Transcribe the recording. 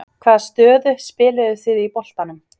Hvaða stöðu spiluðuð þið í boltanum?